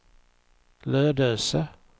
Lödöse